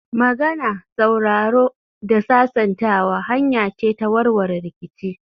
Magana, sauraro da sasantawa hanya ce ta warware rikici